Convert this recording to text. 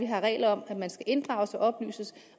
har regler om at man skal inddrages og oplyses